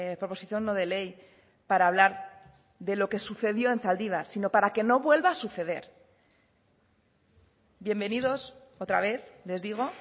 proposición no de ley para hablar de lo que sucedió en zaldibar sino para que no vuelva a suceder bienvenidos otra vez les digo